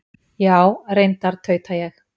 Já, reyndar, tauta ég.